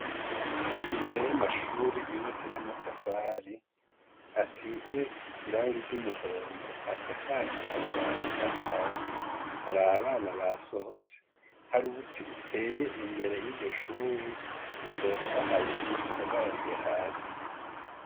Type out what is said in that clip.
Imbere y’amashure yubatse n’amatafari, asize irangi ry’umuhondo, asakaje amabati asanzwe, hari abana basohotse, hari ubuti buteye imbere yiryoshure butotahaye busagarariye hasi.